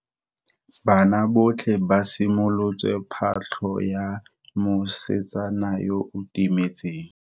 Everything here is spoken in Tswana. Banna botlhe ba simolotse patlo ya mosetsana yo o timetseng.